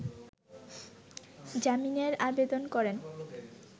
জামিনের আবেদন করেন